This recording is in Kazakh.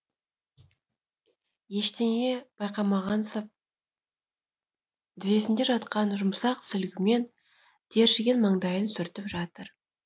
ештеңе байқамағансып тізесінде жатқан жұмсақ сүлгімен тершіген маңдайын сүртіп жатыр